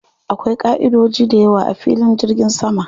Akwai ƙaʼidodoji dayawa a filin jirgin sama.